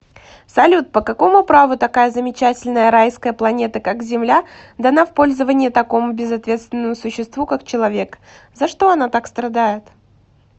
салют по какому праву такая замечательная райская планета как земля дана в пользование такому безответственному существу как человекза что она так страдает